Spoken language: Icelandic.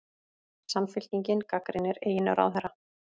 Samfylkingin gagnrýnir eigin ráðherra